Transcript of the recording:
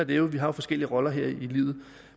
det jo vi har forskellige roller her i livet